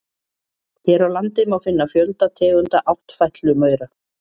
Hér á landi má finna fjölda tegunda áttfætlumaura.